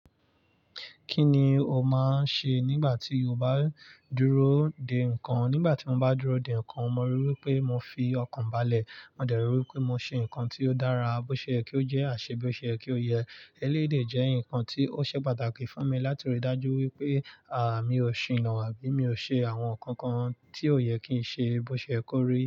Kí ni o máa ń ṣe nígbà tí o bá dúró dè nǹkan? Nígbà tí mo bá dúró dè nǹkan, mo ríi wí pé mo fi ọkàn balẹ̀. Mo dẹ̀ ríi wí pé mo ṣe nǹkan tí ó dára, bó ṣe yé kí ó jẹ́ àṣebé. Ó ṣe yé kí ó yẹ. Èléyì dè jẹ́ nǹkan tí ó ṣe pàtàkì fún mi, láti rí i dájú wípé, mi ò ṣinà ábí mi o ṣe àwọn nǹkan kan tí ò yẹ kí n ṣe. Bó ṣe yé kó rí.